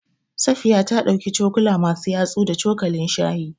Safiya ta ɗauki cokuka masu yatsu da cokalin shayi.